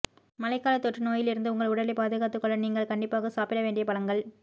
மழைகாலத் தொற்று நோயிலிருந்து உங்கள் உடலைப் பாதுகாத்துக் கொள்ள நீங்கள் கண்டிப்பாக சாப்பிட வேண்டிய பழங்கள்